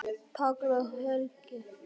Páll og Helga.